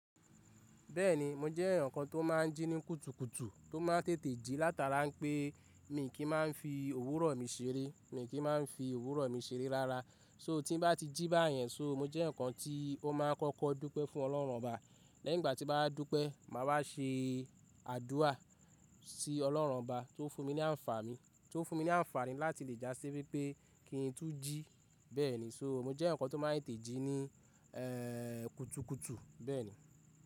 Bẹ́ẹ̀ni mo jẹ́ eyan kan tó máa n jí ní kutukutu to máa ń tètè jí látara pé mi kì máa n fi òwúrọ̀ mi seré, mi kì máa n fi òwúrọ̀ mi seré rárá. So, tí bá ti jí báyẹn, so, mo jẹ́ eyaǹ kan tí ó máa kọ́kọ́ dúpẹ́ fún Ọlọ́run Ọba. Lẹ́yìn ìgbà tí mo bá dúpẹ́, mà wá ṣe àdúà sí Ọlọ́run Ọba tó fún mi ní ànfàní, tó fún mi ní ànfàní láti lè já sí wípé kí n tú jí. Bẹ́ẹ̀ni, so, mo jẹ́ eyan kan tó máa n tètè jí ní-- kutukutu. Bẹ́ẹ̀ni.